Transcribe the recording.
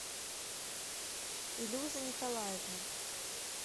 илюза николаевна